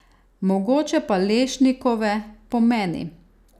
Mogoče pa lešnikove, po meni?